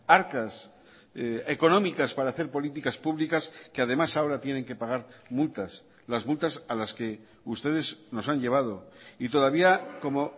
arcas económicas para hacer políticas públicas que además ahora tienen que pagar multas las multas a las que ustedes nos han llevado y todavía como